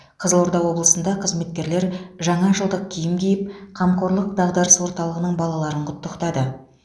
қызылорда облысында қызметкерлер жаңа жылдық киім киіп қамқорлық дағдарыс орталығының балаларын құттықтады